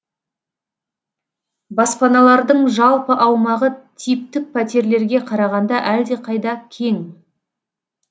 баспаналардың жалпы аумағы типтік пәтерлерге қарағанда әлдеқайда кең